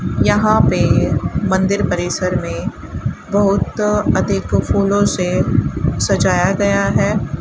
यहां पे मंदिर परिसर में बहुत अधिक फूलों से सजाया गया है।